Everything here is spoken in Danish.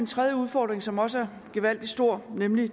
tredje udfordring som også er gevaldig stor nemlig